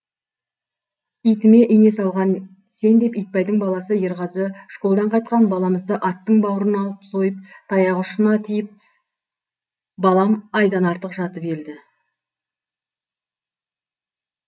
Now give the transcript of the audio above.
итіме ине салған сен деп итбайдың баласы ерғазы школдан қайтқан баламызды аттың бауырына алып сойып таяқ ұшына тиіп балам айдан артық жатып елді